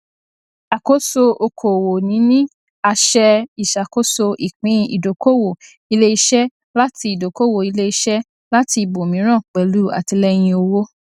àkóso okòwò níní àṣẹ ìṣàkoso ìpín ìdókòwò iléiṣẹ láti ìdókòwò iléiṣẹ láti ibòmíràn pẹlú àtìlẹyìn owó